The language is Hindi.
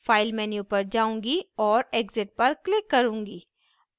file menu पर जाऊँगी और exit पर click करूँगी